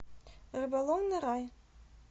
рыболовный рай